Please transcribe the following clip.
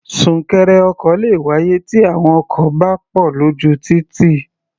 Súnkẹrẹ ọkọ̀ le wáyé tí àwọn ọkọ̀ bá pọ̀ lójú títì.